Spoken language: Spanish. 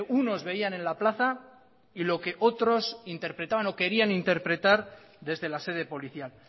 unos veían en la plaza y lo que otros interpretaban o querían interpretar desde la sede policial